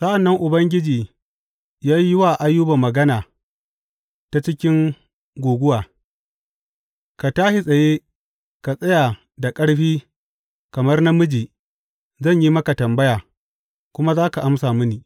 Sa’an nan Ubangiji ya yi wa Ayuba magana ta cikin guguwa, Ka tashi tsaye ka tsaya da ƙarfi kamar namiji; zan yi maka tambaya kuma za ka amsa mini.